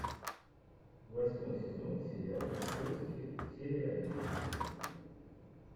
восьмой сезон сериал поиски серия одиннадцать